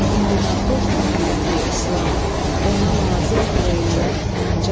İndi naxoşdur milləti-islam, ona lazımdır eləmək əncam.